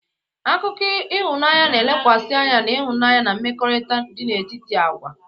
Akụkọ ịhụnanya na-elekwasị anya na ịhụnanya na mmekọrịta dị n'etiti agwa.